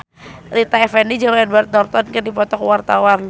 Rita Effendy jeung Edward Norton keur dipoto ku wartawan